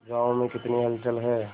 गांव में कितनी हलचल है